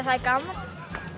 það er gaman